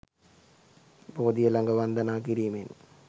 බෝධිය ළඟ වන්දනා කිරීමෙන්